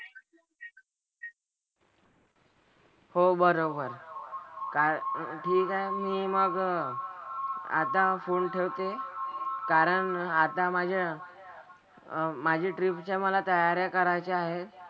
हो बरोबर. काय ठीक आहे मी मग आता phone ठेवते कारण आता माझ्या अह माझी trip च्या मला तयाऱ्या करायच्या आहेत.